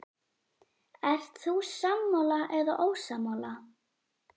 Ert þú sammála eða ósammála?